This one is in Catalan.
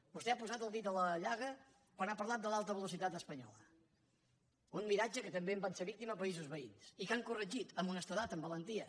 vostè ha posat el dit a la llaga quan ha parlat de l’alta velocitat espanyola un miratge que també en van ser víctimes països veïns i que han corregit amb honestedat amb valentia